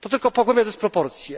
To tylko pogłębia dysproporcje.